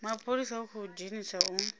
mapholisa u khou edzisa u